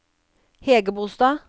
Hægebostad